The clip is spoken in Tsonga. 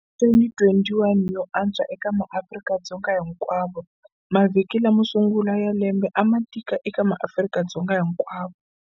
2021 yo antswa eka maAfrika-Dzonga hinkwavo Mavhiki lamo sungula ya lembe a ma tika eka maAfrika-Dzonga hinkwavo.